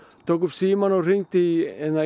tók upp símann og hringdi í